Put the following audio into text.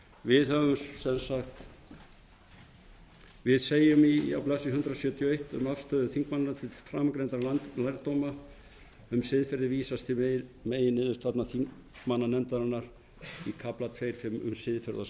við segjum á blaðsíðu hundrað sjötíu og eitt um afstöðu þingmannanna til framangreindra lærdóma um siðferði vísast til meginniðurstaðna þingmannanefndarinnar í kafla tvö fimm um siðferðasamfélag þetta er ekki